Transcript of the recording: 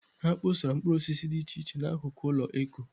Ha kpọsara mkpụrụosisi dị iche iche n'akụkụ ụlọakụ Eko.